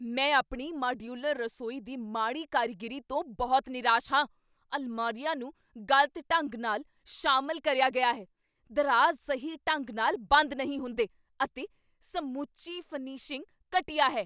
ਮੈਂ ਆਪਣੀ ਮਾਡਿਊਲਰ ਰਸੋਈ ਦੀ ਮਾੜੀ ਕਾਰੀਗਰੀ ਤੋਂ ਬਹੁਤ ਨਿਰਾਸ਼ ਹਾਂ। ਅਲਮਾਰੀਆਂ ਨੂੰ ਗਲਤ ਢੰਗ ਨਾਲ ਸ਼ਾਮਿਲ ਕਰਿਆ ਗਿਆ ਹੈ, ਦਰਾਜ਼ ਸਹੀ ਢੰਗ ਨਾਲ ਬੰਦ ਨਹੀਂ ਹੁੰਦੇ, ਅਤੇ ਸਮੁੱਚੀ ਫਿਨਿਸ਼ਿੰਗ ਘਟੀਆ ਹੈ।